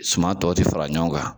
Suma tɔ tɛ fara ɲɔgɔn kan